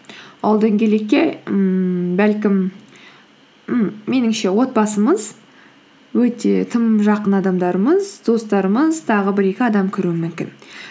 ол дөңгелекке ммм бәлкім м меніңше отбасымыз өте тым жақын адамдарымыз достарымыз тағы бір екі адам кіруі мүмкін